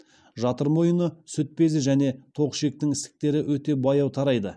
жатыр мойыны сүт безі және тоқ ішектің ісіктері өте баяу тарайды